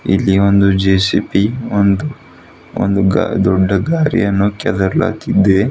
ಇಲ್ಲಿ ಒಂದು ಜೆ_ಸಿ_ಪಿ ಒಂದು ಒಂದು ಗ ದೊಡ್ಡ ಗಾರಿಯನ್ನು ಕೆದ್ರಲಾಗಿದೆ.